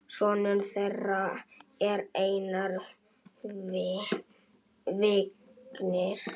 Sonur þeirra er Einar Vignir.